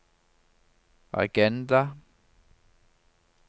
agenda